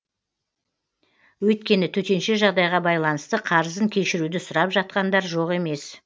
өйткені төтенше жағдайға байланысты қарызын кешіруді сұрап жатқандар жоқ емес